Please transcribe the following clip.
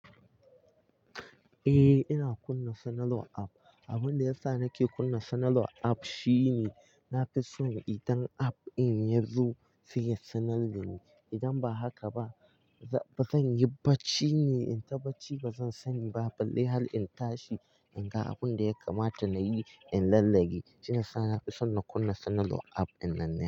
Eh, ina kunna suna law app. Abin da yasa nake kunna suna law app shine na fi son idan app in ya zo sai ya sanar da ni idan ba haka ba, ba zan yi bacci ne, in ta bacci ba zan sani ba balle har in tashi in ga abin da ya kamata na yi in lallage. Shiyasa na fi son na kunna sanarwan app in nane.